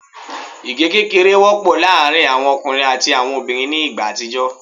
Igẹ kékeré wọ́pọ̀ láàrin àwọn ọkùnrin àti àwọn obìnrin ní igbá àtijọ́